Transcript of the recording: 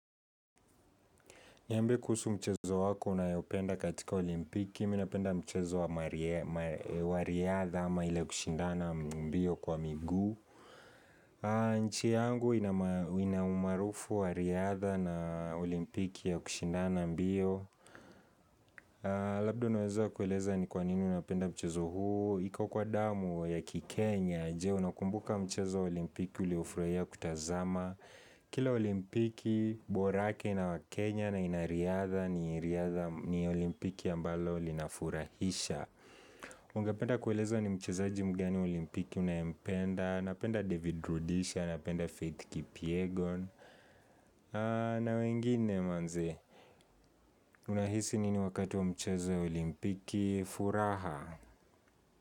Niambie kuhusu mchezo wako unaoupenda katika olimpiki, mimi napenda mchezo wa riadha ama ili kushindana mbio kwa migu. Inchi yangu ina umaarufu wa riadha na olimpiki ya kushindana mbio. Labdo unaweza kueleza ni kwa nini unapenda mchezo huu. Iko kwa damu ya ki Kenya, je unakumbuka mchezo wa olimpiki uliofurahia kutazama. Kila olimpiki borake inawa Kenya na inariadha ni olimpiki ambalo linafurahisha Ungependa kueleza ni mchezaji mgani olimpiki unayempenda Napenda David Rudisha, napenda Faith Kipiegon na wengine manze Unahisi nini wakati wa mchezo olimpiki furaha.